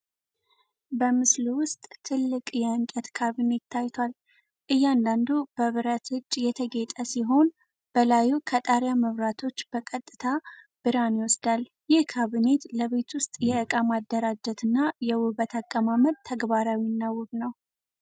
በምስሉ ውስጥ ትልቅ የእንጨት ካብኔት ታይቷል። እያንዳንዱ በብረት እጅ የተጌጠ ሲሆን በላዩ ከጣሪያ መብራቶች በቀጥታ ብርሃን ይወስዳል። ይህ ካብኔት ለቤት ውስጥ የእቃ ማደራጀትና የውበት አቀማመጥ ተግባራዊ እና ውብ ነው።